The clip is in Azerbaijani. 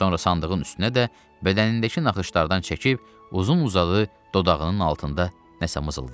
Sonra sandığın üstünə də bədənindəki naxışlardan çəkib uzun uzadı dodağının altında nəsə mızıldandı.